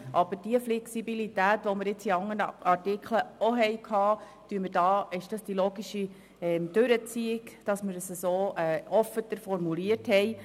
Aber bei der Flexibilität, die wir in anderen Artikeln auch hatten, ist es die logische Konsequenz, wenn wir es so, offener formulieren: